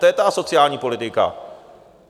To je ta asociální politika.